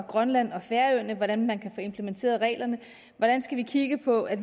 grønland og færøerne hvordan kan man få implementeret reglerne hvordan skal vi kigge på at